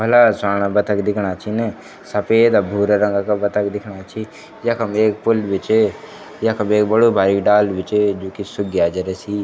भला स्वाना बतख दिखणा छिन सफ़ेद और भूरा रंगा का बतख दिखणा छी यखम एक पुल भी च यखम एक बडू भारिक डाल भी च जू की सुख ग्या जरा सी।